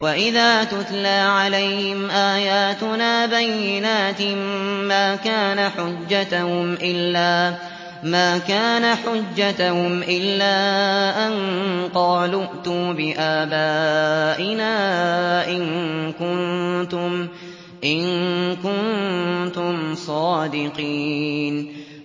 وَإِذَا تُتْلَىٰ عَلَيْهِمْ آيَاتُنَا بَيِّنَاتٍ مَّا كَانَ حُجَّتَهُمْ إِلَّا أَن قَالُوا ائْتُوا بِآبَائِنَا إِن كُنتُمْ صَادِقِينَ